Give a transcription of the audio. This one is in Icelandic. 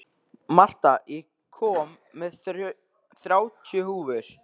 Marta, ég kom með þrjátíu húfur!